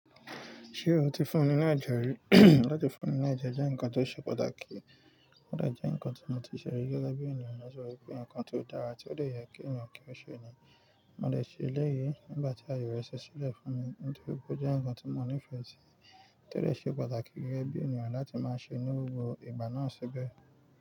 Ṣé o ti fún ni ni ajẹ rí? Láti fún ni ni ajẹ jẹ́ nǹkan tó ṣe pàtàkì. Ó dà jẹ́ nǹkan tí mo ti sẹ̀ rí gẹ́gẹ́ bí ènìyàn, mo rò pé nǹkan tí ó dára tí ó le yẹ kí ènìyàn kí ó ṣe ni. Mo le ṣe eléyìí nígbà tí ayọ̀ rẹ̀ ṣẹlẹ̀ fún mi nítorí pé ó jẹ́ nǹkan tí mo nífẹ̀ẹ́ sí, tó le ṣe pàtàkì gẹ́gẹ́ bí ènìyàn láti máa ṣe ní gbogbo ìgbà náà ṣébẹ̀